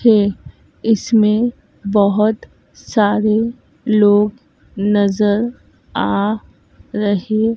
है इसमें बहोत सारे लोग नज़र आ रहे--